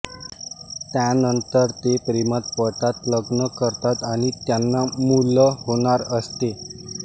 त्यानंतर ते प्रेमात पडतात लग्न करतात आणि त्यांना मुल होणार असते